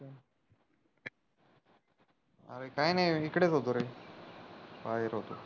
काही नाही इकडेच होतो रे बाहेर होतो